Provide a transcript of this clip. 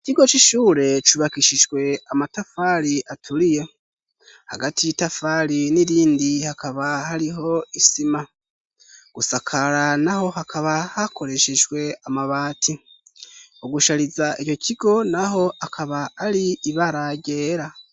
Ikigo c'ishure cubakishijwe amatafari aturiye, hagati y'itafari n'irindi hakaba hariho isima, gusakara naho hakaba hakoreshejwe amabati, ugushariza ico kigo naho akaba ari ibara ryera.